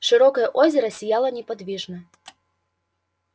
широкое озеро сияло неподвижно